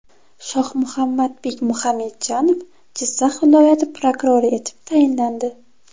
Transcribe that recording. Shohmuhammadbek Muxamedjanov Jizzax viloyati prokurori etib tayinlandi.